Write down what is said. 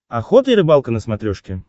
охота и рыбалка на смотрешке